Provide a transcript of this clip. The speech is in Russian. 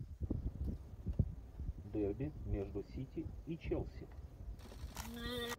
дерби между сити и челси